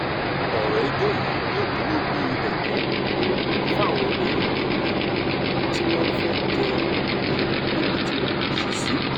ọ̀rọ̀ ẹjọ́ yìí yóò dúró bíi ẹ̀kọ́ um fáwọn èèyàn mí-ín tí wọ́n fẹ́ẹ́ jẹ́ um níbi tí wọn kò ṣe sí